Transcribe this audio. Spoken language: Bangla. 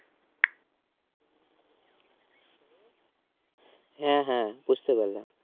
হ্যাঁ হ্যাঁ বুঝতে পারলাম